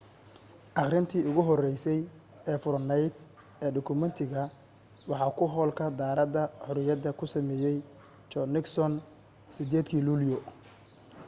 akhrintii ugu horeysa ee furanayd ee dukumeentiga waxa ku hoolka daaradda xorriyada ku sameeyay john nixon 8 dii luulyo